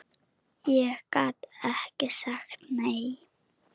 Ég gat ekki sagt nei.